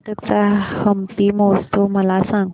कर्नाटक चा हम्पी महोत्सव मला सांग